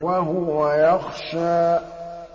وَهُوَ يَخْشَىٰ